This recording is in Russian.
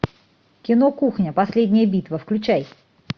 кино кухня последняя битва включай